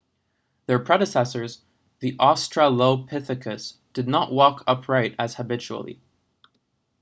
their predecessors the australopithecus did not walk upright as habitually